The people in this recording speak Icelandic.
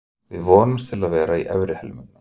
Við vonumst til að vera í efri helmingnum.